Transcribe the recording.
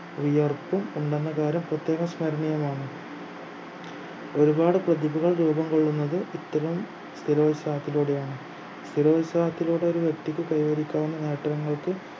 വിയർപ്പും ഉണ്ടെന്ന കാര്യം പ്രത്യേകം സ്മരണീയമാണ് ഒരുപാട് പ്രതിഭകൾ രൂപം കൊള്ളുന്നത് ഇത്തരം സ്ഥിരോത്സാഹത്തിലൂടെയാണ് സ്ഥിരോത്സാഹത്തിലൂടെ ഒരു വ്യക്തിക്ക് കൈവരിക്കാവുന്ന നേട്ടങ്ങൾക്ക്